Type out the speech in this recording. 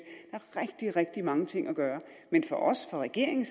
der er rigtig rigtig mange ting at gøre men for regeringen